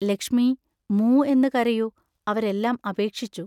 ലക്ഷ്മീ, മൂ എന്ന് കരയൂ, അവരെല്ലാം അപേക്ഷിച്ചു.